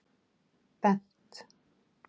Bent